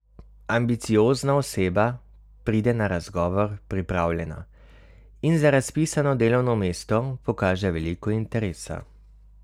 Ambiciozna oseba pride na razgovor pripravljena in za razpisano delovno mesto pokaže veliko interesa.